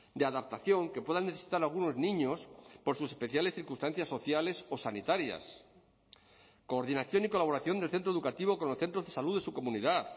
de adaptación que puedan necesitar algunos niños por sus especiales circunstancias sociales o sanitarias coordinación y colaboración del centro educativo con los centros de salud de su comunidad